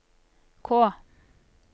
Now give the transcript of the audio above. K